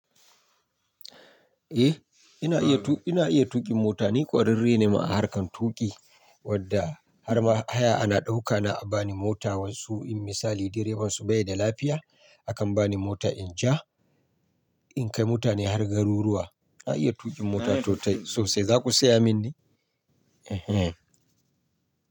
Eh, ina iya tuƙi, ina iya tuƙin mota. Ni ƙwararre ne ma a harkar tuƙi wadda har ma haya ana ɗaukana a bani mota wasu in misali direban su bai da lafiya, akan bani mota in ja, in kai mutane har garuruwa. Na iya tuƙin mota totai sosai. Za ku saya mini? Ehen.